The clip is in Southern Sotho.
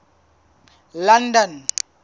london